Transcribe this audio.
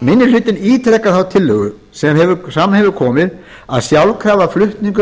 minni hlutinn ítrekar því þá tillögu sem fram hefur komið að sjálfkrafa flutningur